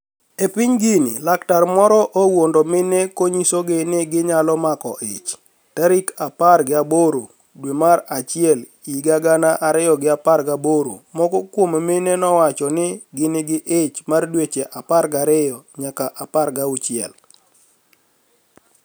E piniy Guini laktar moro owuonido mine koniyisogi ni giniyalo mako ich. Tarik apar giaboro dwe mar achiel higa gana ariyo gi apar gaboro Moko kuom mine nowacho ni negin gi ich mar dweche apar gariyo niyaka apar gauchiel.